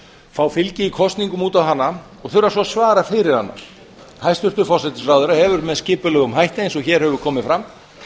fá fylgi í kosningum út á hana og þurfa svo að svara fyrir hana hæstvirtur forsætisráðherra hefur með skipulegum hætti eins og hér hefur komið fram